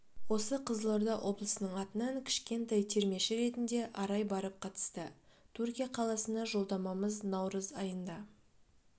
осы қызылорда облысының атынан кішкентай термеші ретінде арай барып қатысты түркия қаласына жолдамамыз наурыз айында